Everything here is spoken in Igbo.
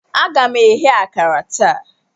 Aga m eghe akara taa.